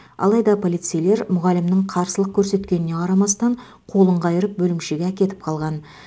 алайда полицейлер мұғалімнің қарсылық көрсеткеніне қарамастан қолын қайырып бөлімшеге әкетіп қалған